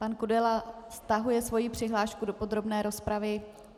Pan Kudela stahuje svoji přihlášku do podrobné rozpravy.